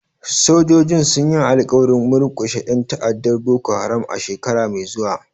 Sojojin sun yi alƙawarin murkushe 'yan ta'addar Boko Haram a shekara mai zuwa.